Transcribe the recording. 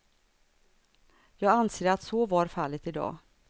Jag anser att så var fallet idag.